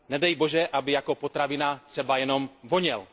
Nedej bože, aby jako potravina třeba jenom voněl.